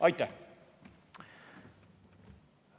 Aitäh!